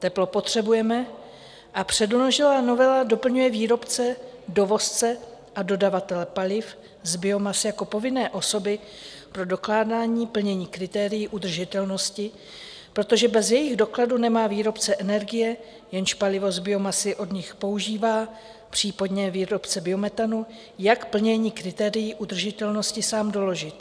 Teplo potřebujeme a předložená novela doplňuje výrobce, dovozce a dodavatele paliv z biomasy jako povinné osoby pro dokládání plnění kritérií udržitelnosti, protože bez jejich dokladu nemá výrobce energie, jenž palivo z biomasy od nich používá, případně výrobce biometanu, jak plnění kritérií udržitelnosti sám doložit.